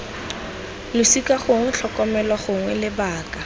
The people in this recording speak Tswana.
losika gongwe tlhokomelo gongwe lebaka